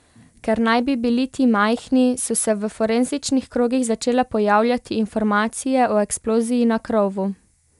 Ker naj bi bili ti majhni, so se v forenzičnih krogih začele pojavljati informacije o eksploziji na krovu.